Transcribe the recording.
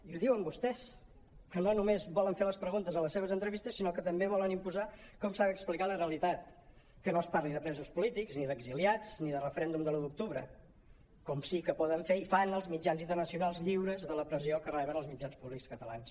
i ho diuen vostès que no només volen fer les preguntes a les seves entrevistes sinó que també volen imposar com s’ha d’explicar la realitat que no es parli de presos polítics ni d’exiliats ni de referèndum de l’un d’octubre com sí que poden fer i fan els mitjans internacionals lliures de la pressió que reben els mitjans públics catalans